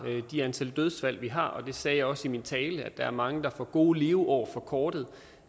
det antal dødsfald vi har og det sagde jeg også i min tale at der er mange der får gode leveår forkortet